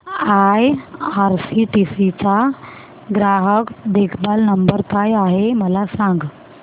IRCTC चा ग्राहक देखभाल नंबर काय आहे मला सांग